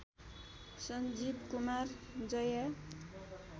Sanjeev Kumar Jaya